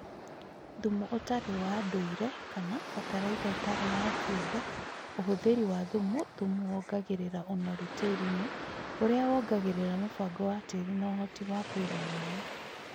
Thumu ũtarĩ wa ndũire/Fatalaitha ĩtarĩ ya kĩũmbe Ũhũthĩri wa thumu Thumu wongagĩrĩra ũnoru tĩĩrinĩ, ũrĩa wongagĩrĩra mũbango wa tĩĩri na ũhoti wa kũiga maĩ